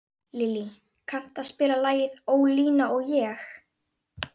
Lillý, kanntu að spila lagið „Ólína og ég“?